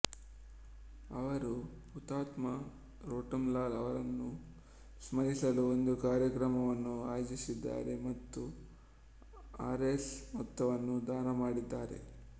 ಅವರು ಹುತಾತ್ಮ ರೋಟಮ್ ಲಾಲ್ ಅವರನ್ನು ಸ್ಮರಿಸಲು ಒಂದು ಕಾರ್ಯಕ್ರಮವನ್ನು ಆಯೋಜಿಸಿದ್ದಾರೆ ಮತ್ತು ಆರ್ಎಸ್ ಮೊತ್ತವನ್ನು ದಾನ ಮಾಡಿದ್ದಾರೆ